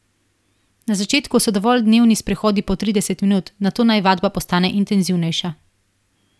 Na začetku so dovolj dnevni sprehodi po trideset minut, nato naj vadba postane intenzivnejša.